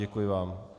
Děkuji vám.